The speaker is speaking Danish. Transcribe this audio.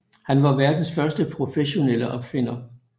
Han var verdens første professionelle opfinder